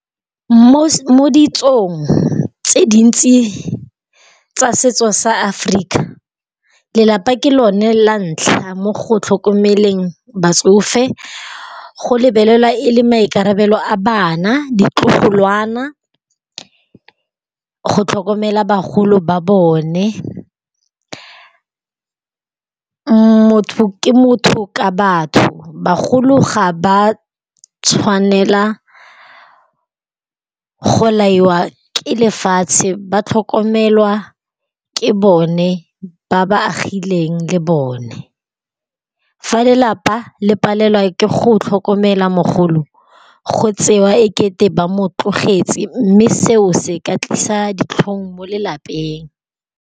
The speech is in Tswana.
Mo ditsong tse dintsi tsa setso sa Africa lelapa ke lone la ntlha mo go tlhokomeleng batsofe. Go lebelelwa e le maikarabelo a bana, ditlogolwana go tlhokomela bagolo ba bone. Motho ke motho ka batho, bagolo ga ba tshwanela go laiwa ke lefatshe ba tlhokomelwa ke bone ba ba agileng le bone. Fa lelapa le palelwa ke go tlhokomela mogolo go tsewa ekete ba mo tlogetse mme seo se ka tlisa ditlhong mo lelapeng.